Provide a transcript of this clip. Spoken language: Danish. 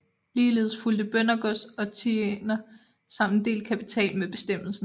Ligeledes fulgte bøndergods og tiender samt en del kapital med bestemmelsen